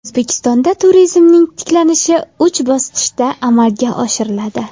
O‘zbekistonda turizmning tiklanishi uch bosqichda amalga oshiriladi.